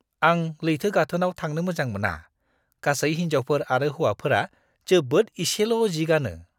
आं लैथो गाथोनआव थांनो मोजां मोना। गासै हिनजावफोर आरो हौवाफोरा जोबोद इसेल' जि गानो!